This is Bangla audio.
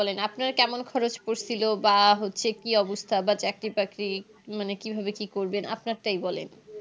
বলেন আপনার কেমন খরচ পড়ছিলো বা হচ্ছে কি অবস্থা বা চাকরি বাকরি মানে কিভাবে কি করবেন আপনার টাই বলেন